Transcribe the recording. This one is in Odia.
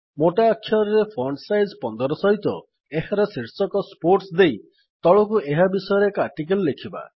ମୋଟା ଅକ୍ଷରରେ ଫଣ୍ଟ୍ ସାଇଜ 15 ସହିତ ଏହାର ଏକ ଶୀର୍ଷକ ସ୍ପୋର୍ଟସ୍ ଦେଇ ତଳକୁ ଏହା ବିଷୟରେ ଏକ ଆର୍ଟିକିଲ୍ ଲେଖିବା